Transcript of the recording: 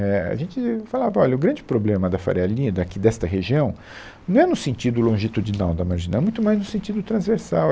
é, A gente falava, olha, o grande problema da Faria Lima, aqui desta região, não é no sentido longitudinal da marginal, é muito mais no sentido transversal.